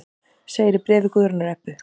Segir í bréfi Guðrúnar Ebbu.